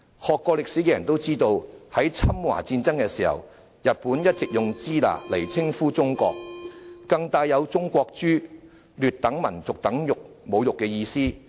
學過歷史的人都知道，在侵華戰爭的時候，日本一直用"支那"來稱呼中國，更帶有"中國豬"、劣等民族等侮辱意思。